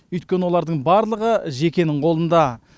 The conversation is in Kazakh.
өйткені олардың барлығы жекенің қолында